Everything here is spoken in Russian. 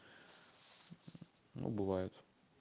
ну бывает